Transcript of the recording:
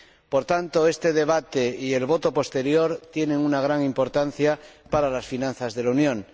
Por tanto, este debate y la votación posterior tienen una gran importancia para las finanzas de la Unión.